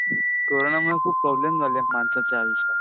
कोरोनामुळे खूप प्रॉब्लेम्स झाले माणसाच्या आयुष्यात.